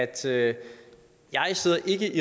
del af